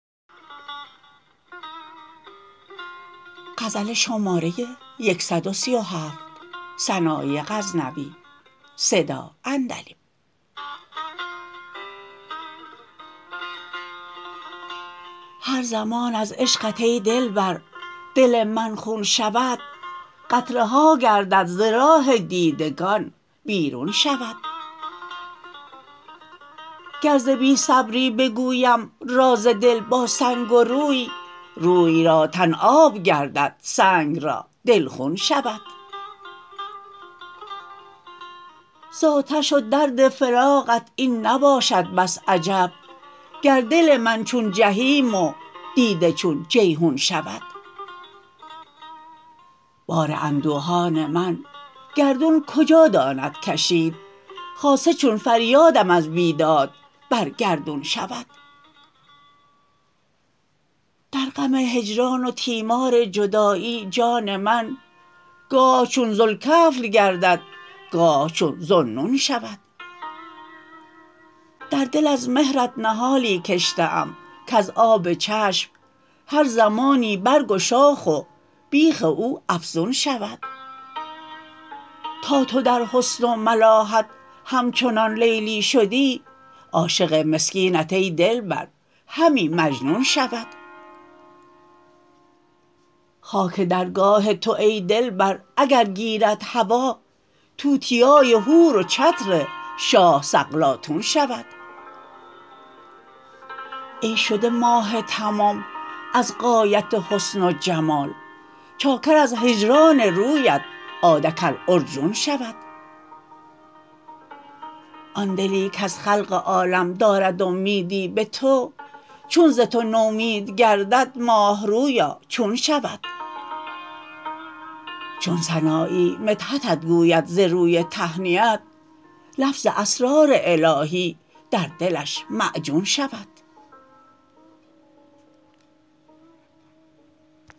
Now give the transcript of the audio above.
هر زمان از عشقت ای دلبر دل من خون شود قطره ها گردد ز راه دیدگان بیرون شود گر ز بی صبری بگویم راز دل با سنگ و روی روی را تن آب گردد سنگ را دل خون شود زآتش و درد فراقت این نباشد بس عجب گر دل من چون جحیم و دیده چون جیحون شود بار اندوهان من گردون کجا داند کشید خاصه چون فریادم از بیداد بر گردون شود در غم هجران و تیمار جدایی جان من گاه چون ذوالکفل گردد گاه چون ذوالنون شود در دل از مهرت نهالی کشته ام کز آب چشم هر زمانی برگ و شاخ و بیخ او افزون شود تا تو در حسن و ملاحت همچنان لیلی شدی عاشق مسکینت ای دلبر همی مجنون شود خاک درگاه تو ای دلبر اگر گیرد هوا توتیای حور و چتر شاه سقلاطون شود ای شده ماه تمام از غایت حسن و جمال چاکر از هجران رویت عادکالعرجون شود آن دلی کز خلق عالم دارد امیدی به تو چون ز تو نومید گردد ماهرویا چون شود چون سنایی مدحتت گوید ز روی تهنیت لفظ اسرار الاهی در دلش معجون شود